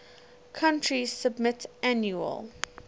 country submit annual